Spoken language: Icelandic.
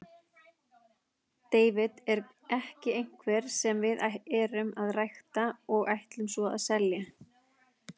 David er ekki einhver sem við erum að rækta og ætlum svo að selja.